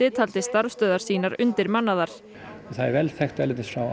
taldi starfstöðvar sínar undirmannaðar það er vel þekkt erlendis frá